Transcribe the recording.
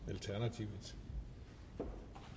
selv tak